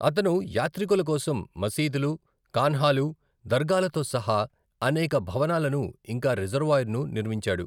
అతను యాత్రికుల కోసం మసీదులు, ఖాన్ఖాలు, దర్గాలతో సహా అనేక భవనాలను ఇంకా రిజర్వాయర్ను నిర్మించాడు.